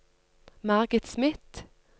Margit Smith